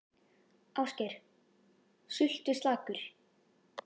Ásgeir: Sultuslakur?